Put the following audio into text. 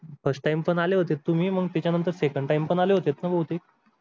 first time पण आले होते तुम्ही मग त्याच्या नंतर second time पण आले होतेत ना बहुतेक